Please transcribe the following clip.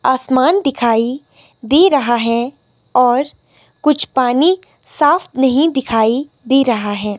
आमसान दिखाई दे रहा है और कुछ पानी साफ नहीं दिखाई दे रहा है।